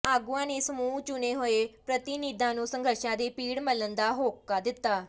ਆਗੂਆਂ ਨੇ ਸਮੂਹ ਚੁਣੇ ਹੋਏ ਪ੍ਰਧੀਨਿਧਾਂ ਨੂੰ ਸੰਘਰਸ਼ਾਂ ਦੇ ਪਿੜ ਮੱਲਣ ਦਾ ਹੋਕਾ ਦਿੱਤਾ